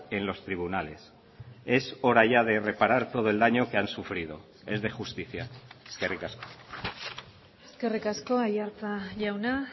en los tribunales es hora ya de reparar todo el daño que han sufrido es de justicia eskerrik asko eskerrik asko aiartza jauna